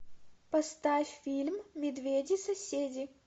поставь фильм медведи соседи